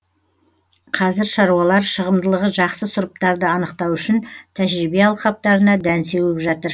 қазір шаруалар шығымдылығы жақсы сұрыптарды анықтау үшін тәжірибе алқаптарына дән сеуіп жатыр